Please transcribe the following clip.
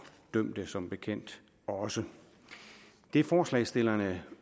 dømte som bekendt også det forslagsstillerne